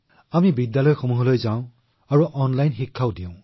আমি বিদ্যালয়লৈ যাওঁ আমি অনলাইন শিক্ষা দিওঁ